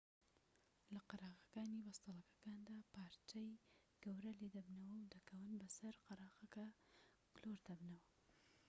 لە قەراغەکانی بەستەڵەکەکاندا پارچەی گەورە لێ دەبنەوە و دەکەون و بەسەر قەراغەکەدا گلۆر دەبنەوە